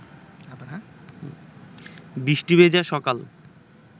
বৃষ্টি ভেজা সকাল